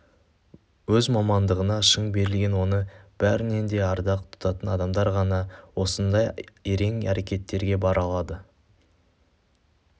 өз мамандығына шын берілген оны бәрінен де ардақ тұтатын адамдар ғана осындай ерен әрекеттерге бара алады